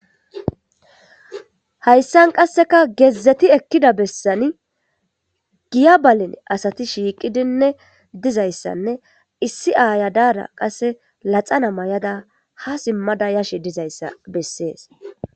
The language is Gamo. Hayssan qasseka gezzeti ekida besani giya baleni asati shiqidinne dizayisane issi aya dara laxana mayada ha sima yashe dizayisa besesi